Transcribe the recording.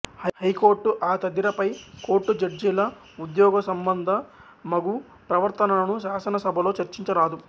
high court ఆ తదిర పై కోర్టు జడ్జీల ఉద్యోగసంబంధమగు ప్రవర్తనను శాసనసభలో చర్చించరాదు